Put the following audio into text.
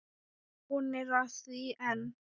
Hún er að því enn!